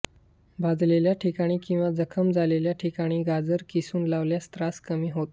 भाजलेल्या ठिकाणी किंवा जखम झालेल्या ठिकाणी गाजर किसून लावल्यास त्रास कमी होतो